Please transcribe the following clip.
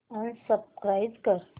unsubscribe कर